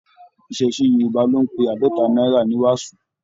Iṣẹṣe Yorùbá ló n pé àádọta náírà ní wàsó.